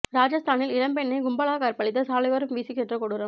ராஜஸ்தானில் இளம்பெண்ணை கும்பலாக கற்பழித்து சாலையோரம் வீசிச் சென்ற கொடூரம்